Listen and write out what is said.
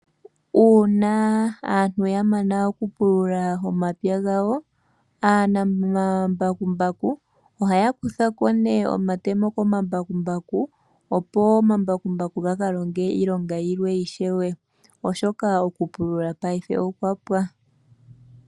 Uuna aantu ya mana okupulula momapya gawo, aanamambakumbaku ohaya kutha ko nee omatemo ko ma mbakumbaku, opo omambakumbaku ga ka longe iilonga yilwe ishewe oshoka okupulula paife okwa pwa.